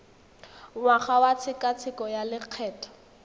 ngwaga wa tshekatsheko ya lokgetho